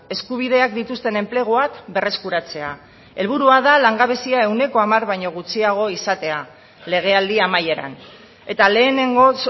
eskubideak dituzten enpleguak berreskuratzea helburua da langabezia ehuneko hamar baino gutxiago izatea legealdi amaieran eta lehenengoz